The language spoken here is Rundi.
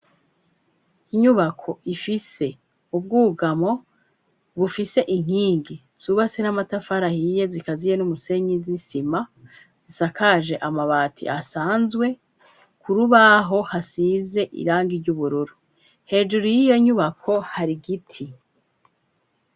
Inyubako ifise ubwugamo bufise inkingi subase n'amatafarahiye zikaziye n'umusenyi zisima sakaje amabati asanzwe kurubaho hasize irangi ry'ubururo hejuru y'iyo nyubako hari igiti.